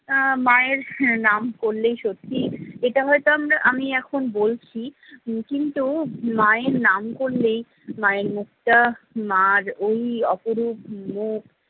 আহ মায়ের নাম করলেই সত্যি এটা হয়তো আমরা আমি এখন বলছি কিন্তু মায়ের নাম করলেই মায়ের মুখটা, মার ওই অপরূপ মুখ